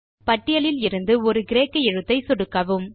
பட்டியலில் இருந்து ஒரு கிரேக்க எழுத்தை சொடுக்கவும்